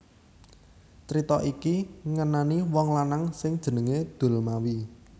Crita iki ngenani wong lanang sing jenengé Dulmawi